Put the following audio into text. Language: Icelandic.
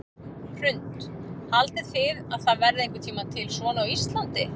Hrund: Haldið þið að það verði einhvern tímann til svona á Íslandi?